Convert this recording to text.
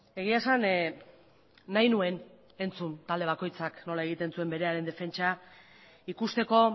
egia esan nahi nuen entzun talde bakoitzak nola egiten zuen berearen defentsa ikusteko